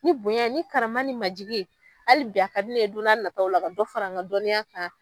Ni bonya ye ni karama ni majigi ye ali bi a ka di ye don n'a nataw la ka dɔ fara an ka dɔnniya kan.